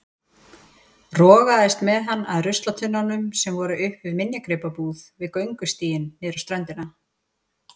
Rogaðist með hann að ruslatunnunum sem voru upp við minjagripabúð við göngustíginn niður á ströndina.